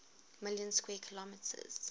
million square kilometers